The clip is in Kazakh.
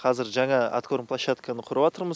қазір жаңа аткорн площадканы құрыватырмыз